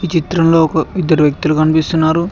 చిత్రంలో ఒక ఇద్దరు వ్యక్తులు కనిపిస్తున్నారు.